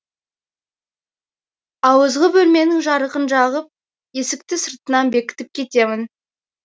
ауызғы бөлменің жарығын жағып есікті сыртынан бекітіп кетемін